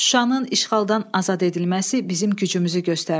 Şuşanın işğaldan azad edilməsi bizim gücümüzü göstərdi.